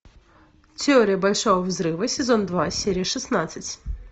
теория большого взрыва сезон два серия шестнадцать